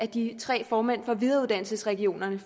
de tre formænd for videreuddannelsesregionerne i